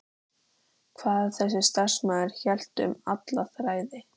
Hvað ef þessi starfsmaður hélt um alla þræði?